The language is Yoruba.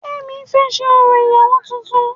Kemi fẹ ṣé orò ìyàwó tuntun